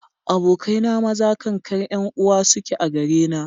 Abokai na maza kankar 'yan uwa suke a gare na.